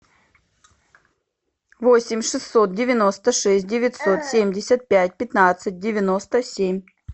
восемь шестьсот девяносто шесть девятьсот семьдесят пять пятнадцать девяносто семь